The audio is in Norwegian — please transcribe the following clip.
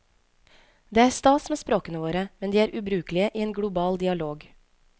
Det er stas med språkene våre, men de er ubrukelige i en global dialog.